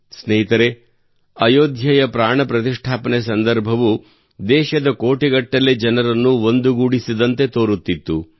ಸ್ನೇಹಿತರೇ ಅಯೋಧ್ಯೆಯ ಪ್ರಾಣ ಪ್ರತಿಷ್ಠಾಪನೆ ಸಂದರ್ಭವು ದೇಶದ ಕೋಟಿಗಟ್ಟಲೆ ಜನರನ್ನು ಒಂದುಗೂಡಿಸಿದಂತೆ ತೋರುತ್ತಿತ್ತು